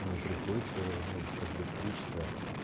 мне приходится ну как бы стричься